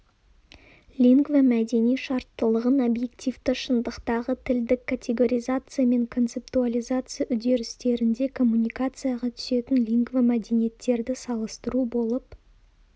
лингвомәдени шарттылығын объективті шындықтағы тілдік категоризация мен концептуализация үдерістерінде коммуникацияға түсетін лингвомәдениеттерді салыстыру болып